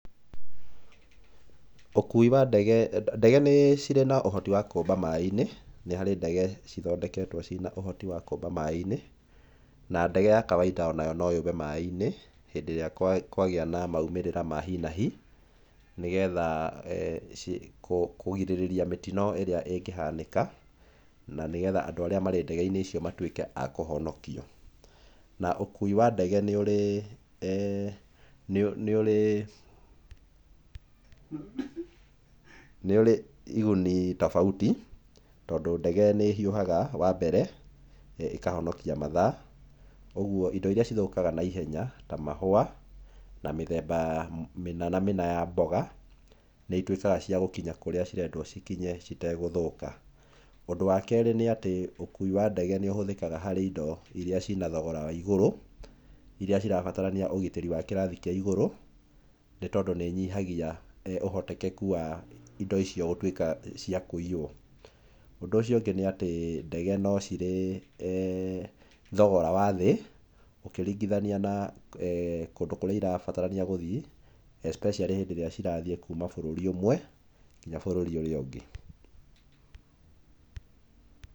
Ndege nĩcirĩ na ũhoti wa kũũmba maaĩinĩ, nĩ harĩ ndege cithondeketwo ciĩna ũhoti wa kũũmba maaĩinĩ na ndege ya kawaida onayo no yũmbe maaĩinĩ hĩndĩ ĩrĩa kwagĩa na maumĩrĩra ma hi na hi. Nĩgetha kũgirĩrĩria mĩtino ĩrĩa ĩngĩhanĩka na nĩgetha andũ arĩa marĩ ndegeinĩ icio matuĩke a kũhonokio. Na ũkui wa ndege nĩ ũrĩ iguni tofauti tondũ ndege nĩ ĩhiũhaga wa mbere ĩkahonokia mathaa ũguo indo iria ithũkaga na ihenya ta mahũa na mĩthemba mĩna na mĩna ya mboga nĩituĩkaga cia gũkinya kũrĩa cirendwo cikinye citegũthũka. Ũndũ wakerĩ nĩ atĩ ũkui wa ndege nĩũhũthĩkaga harĩ indo iria cirĩ na thogora wa igũrũ iria cirabatarania ũgitĩri wa gĩkĩro kĩa igũrũ nĩ tondũ nĩ nyihagia ũhotekeku wa indo icio gũtuĩka cia kũiywo. Ũndũ ũcio ũngĩ nĩ atĩ ndege nĩcirĩ thogora wa thĩ ũkĩringithania na kũndũ kũrĩa irabatara gũthiĩ especially hĩndĩ ĩrĩa cirathiĩ kuma bũrũri ũmwe nginya bũrũri ũrĩa ũngĩ.